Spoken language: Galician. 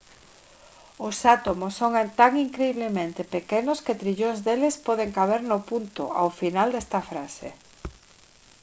os átomos son tan incriblemente pequenos que trillóns deles poden caber no punto ao final desta frase